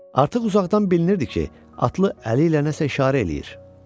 Artıq uzaqdan bilinirdi ki, atlı əli ilə nəsə işarə eləyir.